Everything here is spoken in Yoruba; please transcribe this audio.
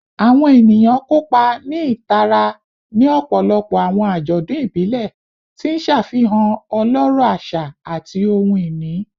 Awọn eniyan kopa ni itara ni ọpọlọpọ awọn ajọdun ibile, ti n ṣafihan ọlọrọ aṣa ati ohun-ini